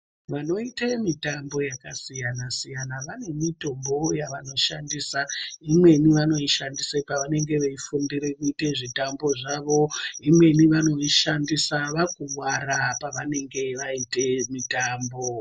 Vanoita mitambo yakasiyana -siyana vane mitombowo yavanoshandisa, imweni vanoishandisa pavanenge veifundire kuite zvitambo zvavo, imweni vanoishandisa vakuwara pavanenge vaite mitambo.